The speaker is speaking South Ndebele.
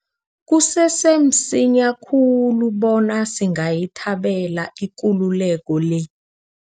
Kusese msinya khulu bona singayithabela ikululeko le.